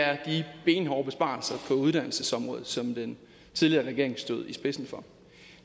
er de benhårde besparelser på uddannelsesområdet som den tidligere regering stod i spidsen for